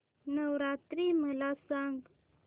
नवरात्री मला सांगा